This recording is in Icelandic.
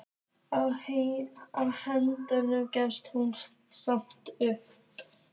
Á endanum gafst hún samt upp.